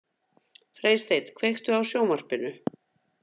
Freysteinn, kveiktu á sjónvarpinu.